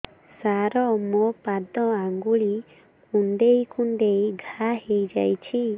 ସାର ମୋ ପାଦ ଆଙ୍ଗୁଳି କୁଣ୍ଡେଇ କୁଣ୍ଡେଇ ଘା ହେଇଯାଇଛି